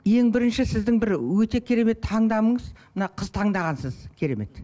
ең бірінші сіздің бір өте керемет таңдамыңыз мына қыз таңдағансыз керемет